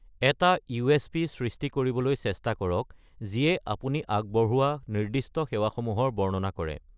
এটা ইউএচপি সৃষ্টি কৰিবলৈ চেষ্টা কৰক, যিয়ে আপুনি আগবঢ়োৱা নিৰ্দিষ্ট সেৱাসমূহৰ বৰ্ণনা কৰে।